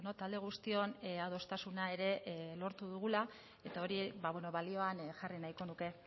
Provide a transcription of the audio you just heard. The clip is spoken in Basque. talde guztion adostasuna ere lortu dugula eta hori balioan jarri nahiko nuke